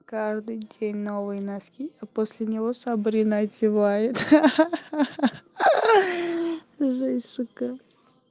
каждый день новые носки а после него сабрина одевает ха-ха женщинка